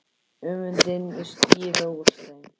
Öfundin skín úr þeim.